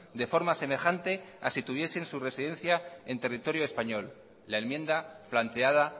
de forma semejante a si tuviesen su residencia en territorio español la enmienda planteada